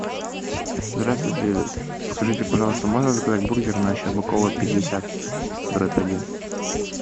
здравствуйте скажите пожалуйста можно заказать бургер на щербакова пятьдесят дробь один